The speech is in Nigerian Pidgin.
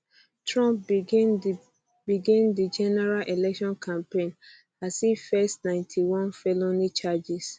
trump begin di begin di general election campaign as e face ninety one felony charges